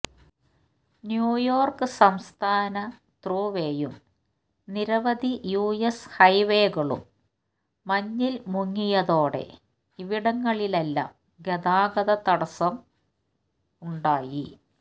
New York സംസ്ഥാന ത്രൂവേയും നിരവധി യു എസ് ഹൈവേകളും മഞ്ഞിൽ മുങ്ങിയതോടെ ഇവിടങ്ങളിലെല്ലാം ഗതാഗത തടസ്സവും ഉണ്ടായി